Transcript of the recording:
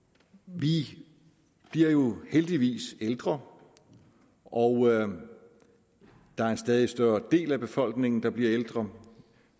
vi bliver jo heldigvis ældre og der er en stadig større del af befolkningen der bliver ældre